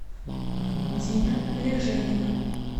дина леженина